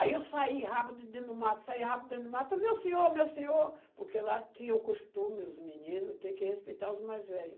Aí eu saí rápido dentro do mato, saí rápido dentro do mato, meu senhor, meu senhor, porque lá tinha o costume, os meninos, tem que respeitar os mais velhos.